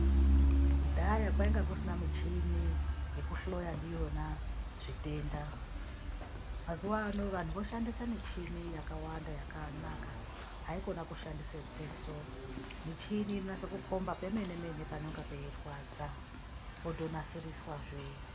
Kudhaya kwainga kusina mishini yekuhloya ndiona zvitenda. Mazuva ano vantu voshandise yakawanda yakanaka haikone kushandise dziso, mishini inonase kukomba pemene mene panonga peirwadza potonasiriswa zvee.